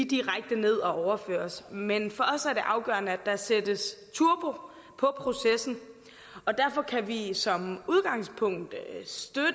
direkte ned og overføres men for os er det afgørende at der sættes turbo på processen og derfor kan vi som udgangspunkt støtte